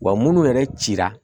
Wa munnu yɛrɛ cira